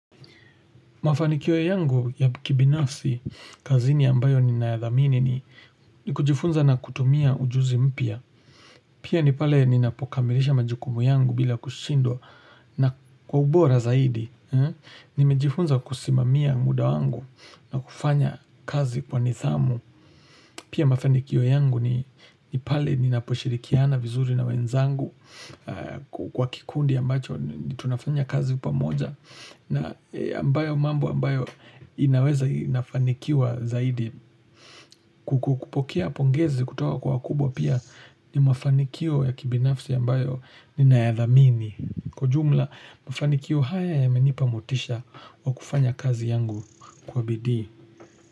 Mafanikio yangu ya kibinafsi, kazini ambayo ninayadhamini ni ni kujifunza na kutumia ujuzi mpya. Pia ni pale ni napokamilisha majukumu yangu bila kushindwa na kwa ubora zaidi. Nimejifunza kusimamia muda wangu na kufanya kazi kwa nidhamu. Pia mafanikio yangu ni pale ninaposhirikiana vizuri na wenzangu kwa kikundi ambacho ni tunafanya kazi pamoja. Na ambayo mambo ambayo inaweza inafanikiwa zaidi ku kupokea pongezi kutoka kwa wakubwa pia ni mafanikio ya kibinafsi ambayo ninayadhamini. Kwa ujumla, mafanikio haya yamenipa motisha wa kufanya kazi yangu kwa bidii.